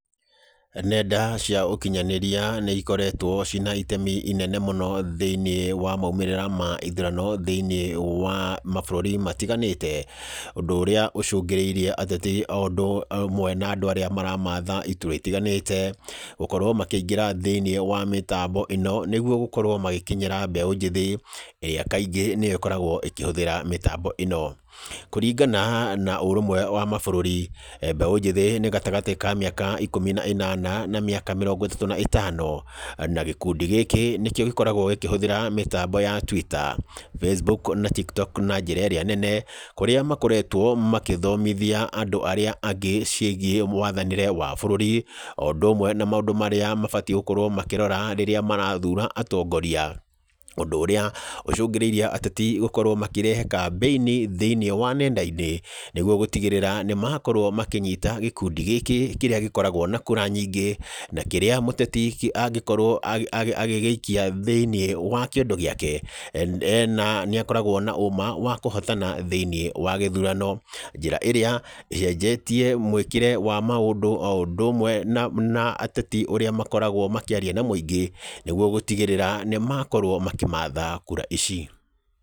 Nenda cia ũkinyanĩria nĩ ikoretwo cina itemi inene mũno thĩiniĩ wa maumrĩĩra ma ithurano thĩiniĩ wa mabũrũri matiganĩte. Ũndũ ũrĩa ũcũngĩrĩirie ateti o ũndũ ũmwe na andũ arĩa maramatha iturwa itiganĩte, gũkorwo makĩingĩra thĩiniĩ wa mĩtambo ĩno, nĩguo gũkorwo magĩkinyĩra mbeũ njĩthĩ, ĩrĩa kaingĩ nĩyo ĩkoragwo ĩkĩhũthĩra mĩtambo ĩno. Kũringana na ũrũmwe wa mabũrũri, mbeũ njĩthĩ nĩ gatagatĩ ka mĩaka ikũmi na ĩnana na mĩaka mĩrongo ĩtatũ na ĩtano. Na gĩkundi gĩkĩ, nĩkĩo gĩkoragwo gĩkĩhũthĩra mĩtambo ya Twitter, Facebook, na Tiktok na njĩra ĩrĩa nene, kũrĩa makoretwo makĩthomithia andũ arĩa angĩ ciĩgiĩ mwathanĩre wa bũrũri, o ũndũ ũmwe na maũndũ marĩa mabatiĩ gũkorwo makĩrora rĩrĩa marathura atongoria. Ũndũ ũrĩa ũcũngĩrĩirie ateti gũkorwo makĩrehe kambĩini thĩiniĩ wa nenda-inĩ, nĩguo gũtigĩrĩra nĩ makorwo makĩnyita gĩkundi gĩkĩ kĩrĩa gĩkoragwo na kura nyingĩ, na kĩrĩa mũteti angĩkorwo agĩgĩikia thĩiniĩ wa kĩondo gĩake, ena nĩ akoragwo na ũũma wa kũhotana thĩiniĩ wa gĩthurano. Njĩra ĩrĩa ĩcenjetie mũĩkĩre wa maũndũ o ũndũ ũmwe na na ateti ũrĩa makoragwo makĩaria na mũingĩ, nĩguo gũtigĩrĩra nĩ makorwo makĩmatha kura ici.